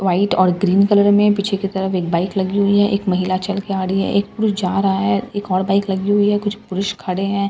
white और green colour में पीछे की तरफ एक बाइक लगी हुई है एक महिला चल के आ रही है एक पुरुष जा रहा है एक और बाइक लगी है कुछ पुरुष खड़े हैं ड --